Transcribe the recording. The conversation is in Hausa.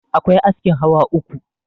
akwai askin hawa uku